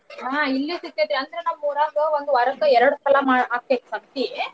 ಹಾ ಇಲ್ಲೂ ಸಿಗತೆತಿ ಅಂದ್ರ ನಮ್ ಊರಗ ಒಂದ್ ವಾರಕ್ಕ ಎರಡ್ಸಲ ಮಾ~ ಆಕೆತ್ ಸಂತೀ.